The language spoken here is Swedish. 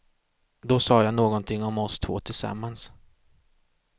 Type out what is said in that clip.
Då sa jag någonting om oss två tillsammans.